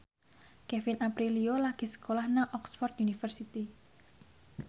Kevin Aprilio lagi sekolah nang Oxford university